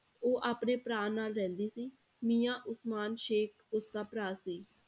ਉਹ ਆਪਣੇ ਭਰਾ ਨਾਲ ਰਹਿੰਦੀ ਸੀ ਮੀਆਂ ਉਸਮਾਨ ਸੇਖ਼ ਉਸਦਾ ਭਰਾ ਸੀ